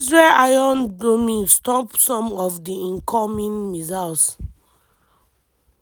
israel iron dome stop some of di incoming missiles.